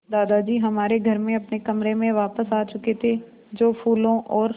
दादाजी हमारे घर में अपने कमरे में वापस आ चुके थे जो फूलों और